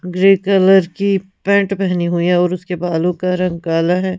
grey colour की pant पहनी हुई है और उसके बालों का रंग काला है--